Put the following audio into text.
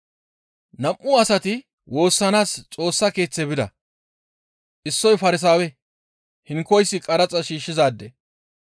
«Nam7u asati woossanaas Xoossa Keeththe bida; issoy Farsaawe, hinkoyssi qaraxa shiishshizaade.